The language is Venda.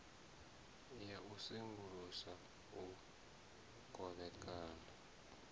ya u sengulusa u kovhekana